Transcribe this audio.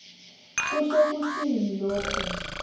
kusho kutsini loku